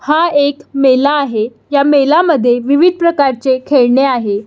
हा एक मेला आहे या मेला मध्ये विविध प्रकारचे खेळणे आहे.